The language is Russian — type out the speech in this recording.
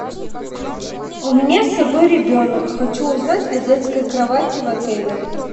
у меня с собой ребенок хочу узнать о детской кровати в отеле